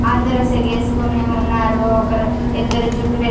అందరు సెగేస్కోని ఉన్నారు ఒక రూ ఇద్దరు జుట్టు.